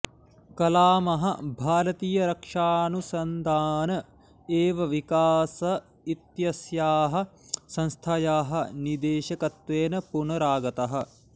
कलामः भारतीयरक्षानुसन्धान एवं विकास इत्यस्याः संस्थायाः निदेशकत्वेन पुनरागतः